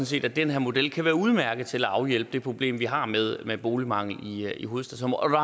set at den her model kan være udmærket til at afhjælpe det problem vi har med med boligmangel i hovedstadsområdet